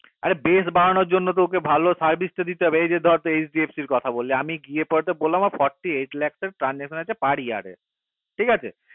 অরে বেশ বাড়ানোর জন্য তো ওকে ভালো service ওকে ভালো তা দিতে হবে এই যে ধর HDFC কথা বললে আমি গিয়ে পরর forty eight লাখর transaction ঠিক আছে